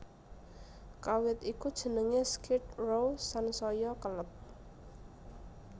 Kawit iku jeneng Skid Row sansaya keleb